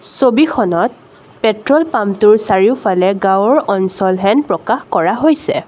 ছবিখনত পেট্ৰল পাম্পটোৰ চাৰিওফালে গাওঁৰ অঞ্চল হেন প্ৰকাশ কৰা হৈছে।